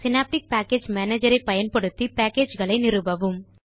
synaptic package manager ஐ பயன்படுத்தி package களை நிறுவவும்